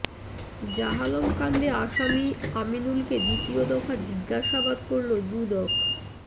জাহালম কাণ্ডে আসামি আমিনুলকে দ্বিতীয় দফা জিজ্ঞাসাবাদ করলো দুদক